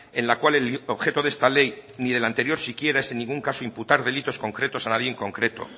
en la cual el objeto de esta ley ni de la anterior siquiera es en ningún caso imputar delitos concretos a nadie en concreto